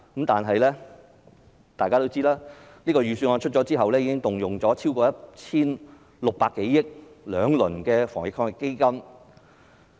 但大家也知道，預算案出台後，政府其實已動用了超過 1,600 多億元，推出了兩輪防疫抗疫基金。